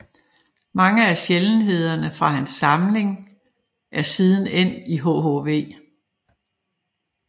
Mange af sjældenhederne fra hans samling er siden endt i hhv